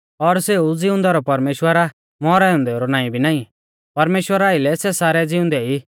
और सेऊ ज़िउंदै रौ परमेश्‍वर आ मौरै औन्देऊ रौ नाईं भी नाईं परमेश्‍वरा आइलै सै सारै ज़िउंदै ई